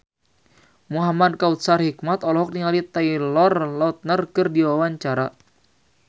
Muhamad Kautsar Hikmat olohok ningali Taylor Lautner keur diwawancara